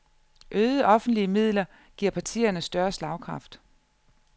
Øgede offentlige midler giver partierne større slagkraft.